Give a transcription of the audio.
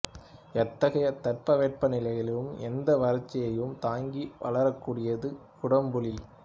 எத்தகைய தட்பவெட்ப நிலைகளிலும் எந்த வறட்சியையும் தாங்கி வளரக்கூடியது குடம்புளி